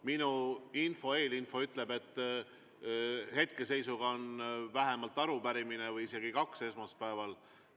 Minu eelinfo ütleb, et hetkeseisuga on vähemalt arupärimine või isegi kaks esmaspäeval.